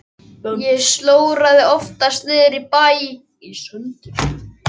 Ég slóraði oftast niðri í bæ í sendiferðunum.